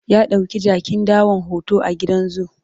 ya ɗauki jakin dawan hoto a gidan zoo